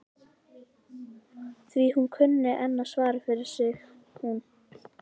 Því hún kunni enn að svara fyrir sig hún